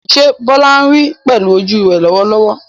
Ṣé Bola ń rí pẹ̀lú ojú rẹ̀ lọ́wọ́lọ́wọ́?